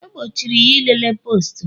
E gbochiri ya ilele postu m